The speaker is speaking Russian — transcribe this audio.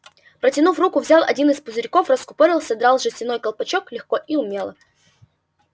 протянув руку взял один из пузырьков раскупорил содрав жестяной колпачок легко и умело